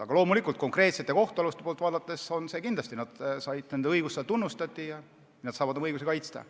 Aga loomulikult on konkreetsete kohtualuste poolt vaadates kindlasti hea, et nende õigust tunnustati ja nad saavad oma õigusi kaitsta.